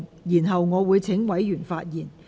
然後，我會請委員發言。